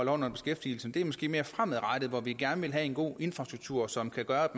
under beskæftigelsen det er måske mere fremadrettet at vi gerne vil have en god infrastruktur som kan gøre